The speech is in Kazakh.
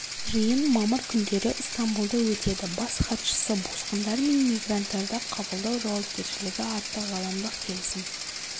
жиын мамыр күндері ыстамбұлда өтеді бас хатшысы босқындар мен мигранттарды қабылдау жауапкершілігі атты ғаламдық келісім